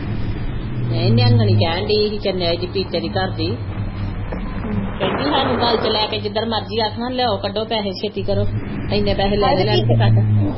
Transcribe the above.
ਨਹੀ ਨਿੰਹੰਗਣੀ ਕਹਿਣ ਦਈ ਹੀ ਪੀਪੇ ਦੀ ਘਰ ਦੀ ਕਹਿੰਜੀ ਹਾਨੂੰ ਗਲ ਵਿਚ ਲੈ ਕੇ ਜਿੱਦਣ ਮਰਜੀ ਆਖਾ ਲਿਆਓ ਕੱਢੋ ਪੈਹੇ ਛੇਤੀ ਕਰੋ ਇਨੇ ਪੈਹੇ ਲੈਣੇ